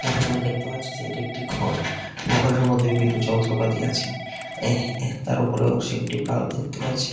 এখানে আমি দেখতে পাচ্ছি যে এটি একটি ঘর ঘরের মধ্যে বিভিন্ন যন্ত্রপাতি আছে এ এ তার উপরের অংশ একটি বাল্ব দেখতে পাচ্ছি।